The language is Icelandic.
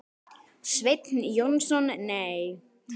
Sveinn Jónsson Nei.